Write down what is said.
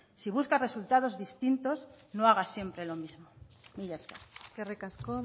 si buscas resultados distintos no hagas siempre lo mismo mila esker eskerrik asko